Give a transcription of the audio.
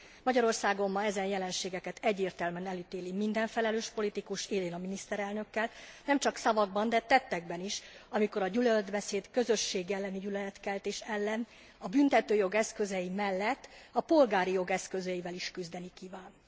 Magyarországon ma ezen jelenségeket egyértelműen elítéli minden felelős politikus élén a miniszterelnökkel nemcsak szavakban, de tettekben is, amikor a gyűlöletbeszéd, a közösség elleni gyűlöletkeltés ellen a büntetőjog eszközei mellett a polgári jog eszközeivel is küzdeni kíván.